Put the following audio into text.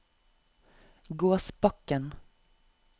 Gåsbakken